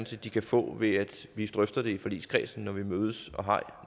set de kan få ved at vi drøfter det i forligskredsen når vi mødes og har